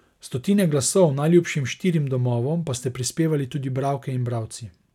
Stotine glasov najljubšim štirim domovom pa ste prispevali tudi bralke in bralci.